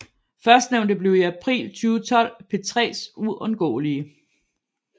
Førstnævnte blev i april 2012 P3s Uundgåelige